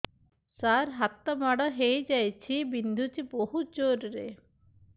ସାର ହାତ ମାଡ଼ ହେଇଯାଇଛି ବିନ୍ଧୁଛି ବହୁତ ଜୋରରେ